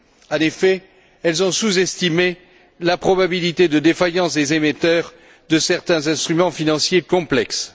En effet, elles ont sous estimé la probabilité de défaillance des émetteurs de certains instruments financiers complexes.